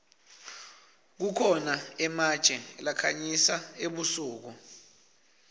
kukhona ematje lakhanyisa ebusuku